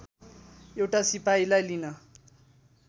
एउटा सिपाहीलाई लिन